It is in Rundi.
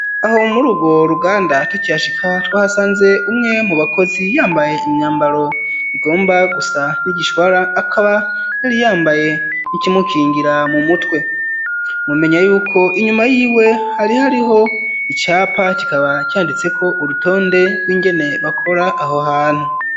Aho muri urwo ruganda tukihashika twahasanze umwe mu bakozi yambaye imyambaro igomba gusa n'igishwara, akaba yari yambaye n'ikimukingira mu mutwe, mumenya yuko inyuma yiwe hari hariho icapa, kikaba canditse ko urutonde rw'ingene bakora aho hantu.